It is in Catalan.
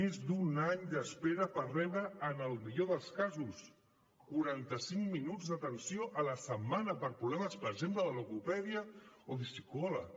més d’un any d’espera per rebre en el millor dels casos quaranta cinc minuts d’atenció a la setmana per problemes per exemple de logopèdia o de psicòleg